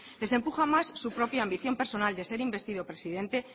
les empuja más su propia ambición personal de ser investido presidente